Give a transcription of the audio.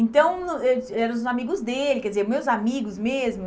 Então, eh eram os amigos dele, quer dizer, meus amigos mesmo.